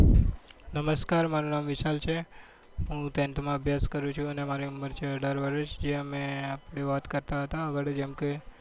નમસ્કાર, મારું નામ વિશાલ છે. હું tenth અભ્યાસ કરું છુ. અને મારી ઉંમર છે અઢાર વર્ષ જે મે આપડે વાત કરતા હતા જેમ કે